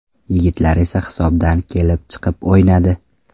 Yigitlar esa hisobdan kelib chiqib o‘ynadi.